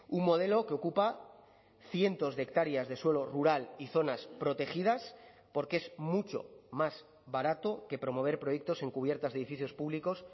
un modelo que ocupa cientos de hectáreas de suelo rural y zonas protegidas porque es mucho más barato que promover proyectos en cubiertas edificios públicos